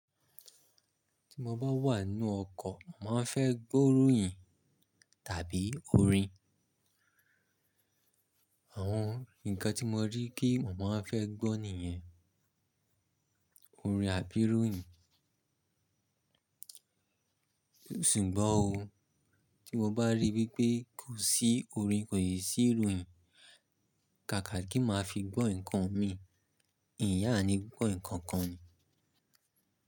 Tí mo bá wà nínú ọkọ̀, màá fẹ́ gbó ìròyìn tàbí orin. Àwọn ǹkan tí mo rí kí mo maá fẹ́ gbọ́ nìyẹn, orin àbí ìròyìn. Ṣùgbọ́n o, tí mo bá rí wípé kò sí orin, kò si sì ìròyìn, kàkà kí màá fi gbọ́ ǹkan mii, n yaá mi ní gbọ́ ǹkan kan ni.